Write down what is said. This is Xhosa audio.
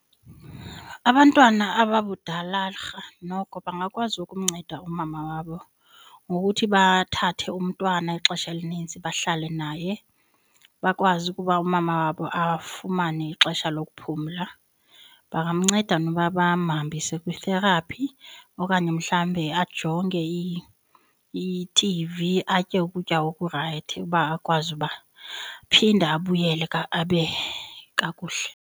Abantwana ababudalarha noko bangakwazi ukumnceda umama wabo ngokuthi bathathe umntwana ixesha elinintsi bahlale naye, bakwazi ukuba umama wabo afumane ixesha lokuphumla bangamnceda noba bamhambise kwi-therapy okanye mhlawumbe ajonge ithivi, atye ukutya oku rayithi uba akwazi uba aphinde abuyele abe kakuhle.